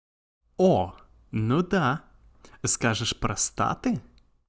о ну да скажешь простаты